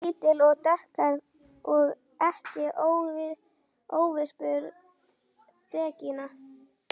Lítil og dökkhærð og ekki ósvipuð Regínu